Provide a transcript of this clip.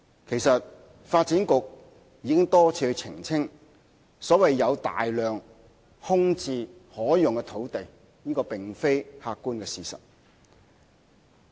其實，發展局已多次澄清，所謂"有大量空置可用的土地"並非客觀的事實。